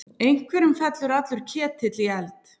Einhverjum fellur allur ketill í eld